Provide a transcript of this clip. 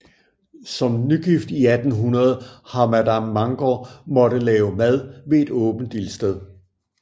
Som nygift i 1800 har madam Mangor måttet lave mad ved et åbent ildsted